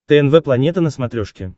тнв планета на смотрешке